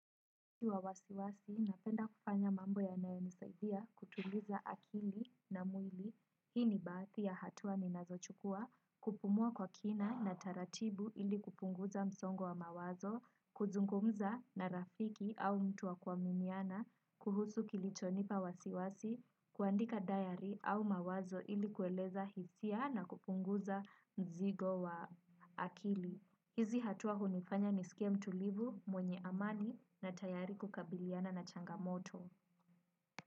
Kiwa wasiwasi, napenda kufanya mambo ya nayo nisaidia kutuliza akili na mwili. Hii ni baadhi ya hatua ninazochukua kupumua kwa kina na taratibu ili kupunguza msongo wa mawazo kuzungumza na rafiki au mtuwa kua miniana, kuhusu kilichonipa wasiwasi, kuandika diary au mawazo ili kueleza hisia na kupunguza mzigo wa akili. Hizi hatuwa hunifanya ni skie mtulivu mwenye amani na tayari kukabiliana na changamoto.